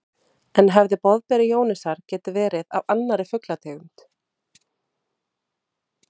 En hefði boðberi Jónasar getað verið af annarri fuglategund?